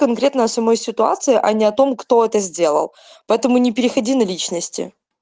конкретно о самой ситуации а не о том кто это сделал поэтому не переходи на личности